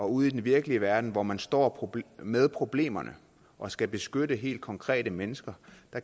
ude i den virkelige verden hvor man står med problemerne og skal beskytte helt konkrete mennesker